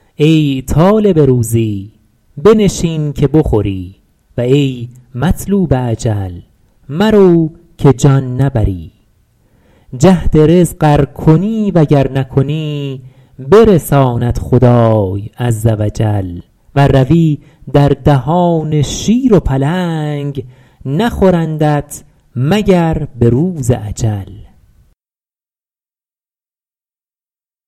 ای طالب روزی بنشین که بخوری و ای مطلوب اجل مرو که جان نبری جهد رزق ار کنی و گر نکنی برساند خدای عز و جل ور روی در دهان شیر و پلنگ نخورندت مگر به روز اجل